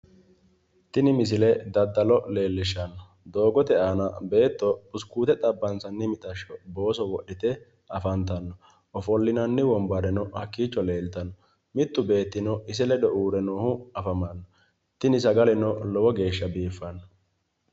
tini misile daddalo xawissanno doogote aana beetto buskuute xabbansanni mixashsho booso wodhite afantanno ofollinanni wombareno hakkiicho leeltanno mittu beettino ise ledo uurre noohu afamanno tini sagaleno lowo geeshsha biiffanno.